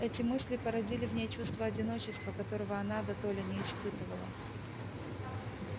эти мысли породили в ней чувство одиночества которого она дотоле не испытывала